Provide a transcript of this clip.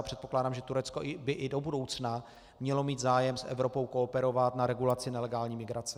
A předpokládám, že Turecko by i do budoucna mělo mít zájem s Evropou kooperovat na regulaci nelegální migrace.